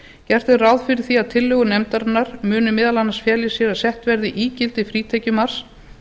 gert er ráð fyrir því að tillögur nefndarinnar muni meðal annars fela í sér að sett verði ígildi frítekjumarks